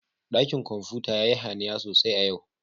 Dakin komfuta ya yi hayaniya sosai a yau